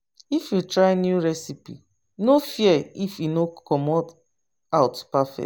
If you try new recipe, no fear if e no come out perfect.